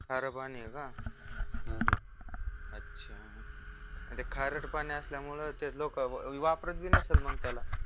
खार पाणी ये का अच्छा मग ते खारट पाणी असल्यामुळं ते लोक वापरत पण नसेल त्याला